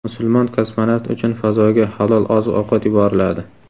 Musulmon kosmonavt uchun fazoga halol oziq-ovqat yuboriladi.